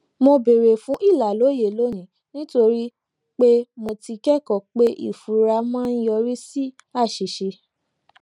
mo béèrè fún ìlàlóye lónìí nítorí pé mo ti kékòó pé ìfura máa ń yọrí sí àṣìṣe